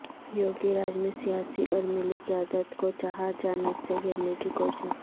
یوگی راج میں سیاسی اور ملی قیادت کو چہار جانب سے گھیرنے کی کوشش